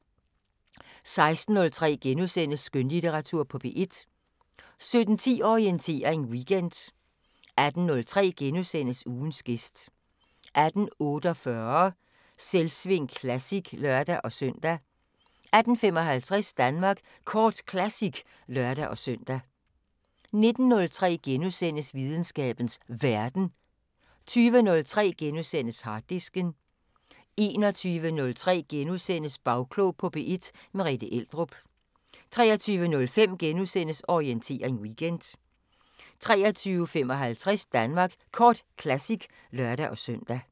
16:03: Skønlitteratur på P1 * 17:10: Orientering Weekend 18:03: Ugens gæst * 18:48: Selvsving Classic (lør-søn) 18:55: Danmark Kort Classic (lør-søn) 19:03: Videnskabens Verden * 20:03: Harddisken * 21:03: Bagklog på P1: Merethe Eldrup * 23:05: Orientering Weekend * 23:55: Danmark Kort Classic (lør-søn)